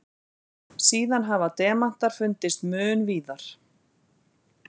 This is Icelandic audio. Síðan hafa demantar fundist mun víðar.